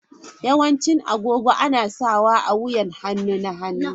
Yawancin agogo ana sawa a wuyan hannu na hagu.